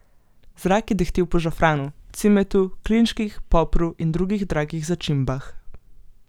Zrak je dehtel po žafranu, cimetu, klinčkih, popru in drugih dragih začimbah.